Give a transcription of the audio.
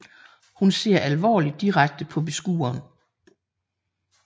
Hun ser alvorligt direkte på beskueren